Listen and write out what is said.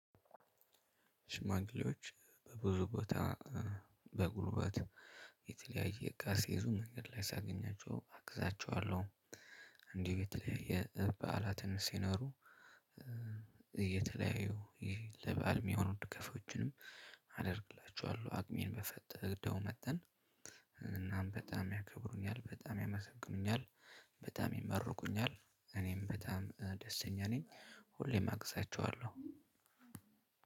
ሽማግሌዎች ብዙ ቦታ በጉልበት የተለያየ እቃ ሲዙ መንገድ ላይ ሳገኛቸው አግዛቸዋለሁ። እንዲሁ የተለያየ ባህላትም ሲኖሩ። እየተለያዩ ለበአል የሚሆኑት ድጋፎችንም አደርግላችኋለሁ አቅሜን በፈቀደው መጠን። እናም በጣም ያከብሩኛል በጣም ያመሰግኑኛል። በጣም ይመርቁኛል እኔም በጣም ደስተኛ ነኝ። ሁሌም አግዛቸዋለሁ።